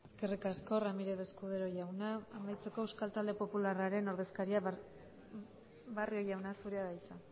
eskerrik asko ramírez escudero jauna amaitzeko euskal talde popularraren ordezkaria barrio jauna zurea da hitza